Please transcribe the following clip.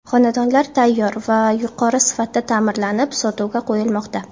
Xonadonlar tayyor va yuqori sifatda ta’mirlanib sotuvga qo‘yilmoqda.